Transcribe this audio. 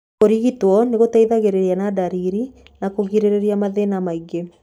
Kũrigitwo nĩ gũteithagĩrĩria na ndariri na kũgirĩrĩria mathĩna mangĩ.